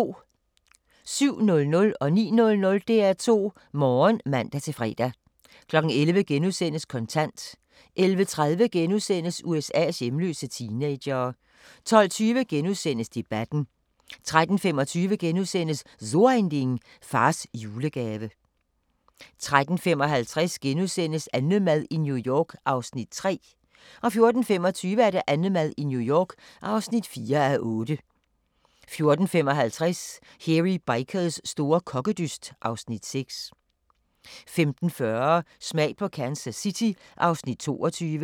07:00: DR2 Morgen (man-fre) 09:00: DR2 Morgen (man-fre) 11:00: Kontant * 11:30: USA's hjemløse teenagere * 12:20: Debatten * 13:25: So Ein Ding: Fars julegave * 13:55: AnneMad i New York (3:8)* 14:25: AnneMad i New York (4:8) 14:55: Hairy Bikers store kokkedyst (Afs. 6) 15:40: Smag på Kansas City (Afs. 22)